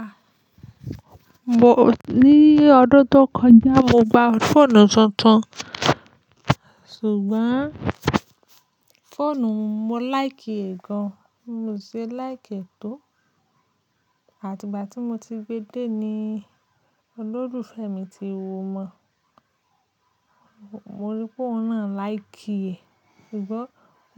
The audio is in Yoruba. Ah! Mo ní ọdún tó kọjá, mo gba fóònù tuntun. Sugbon fóònù mo like è gan. Mio se láìki é to. Àti ìgbà tí mo ti gbe dé ni olólùfẹ́ mi ti wò mọ́. Mo rí pé ọ̀un nà láìkí è, ṣùgbọ́n